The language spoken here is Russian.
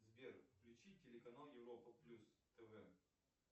сбер включи телеканал европа плюс тв